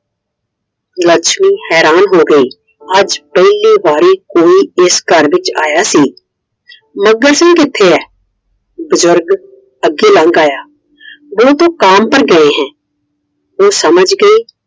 ਲੱਛਮੀ ਹੈਰਾਨ ਹੋ ਗਈ! ਅੱਜ ਪਹਿਲੀ ਵਾਰੀ ਕੋਈ ਇਸ ਘਰ ਵਿੱਚ ਆਇਆ ਸੀ I ਮੱਘਰ ਸਿੰਘ ਕਿੱਥੇ ਏ? ਬਜ਼ੁਰਗ ਅੱਗੇ ਲੰਗ ਆਇਆ I वो तो काम पर गए है । ਉਹ ਸਮਝ ਗਈ